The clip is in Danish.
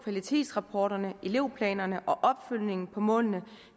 kvalitetsrapporterne elevplanerne og opfølgningen på målene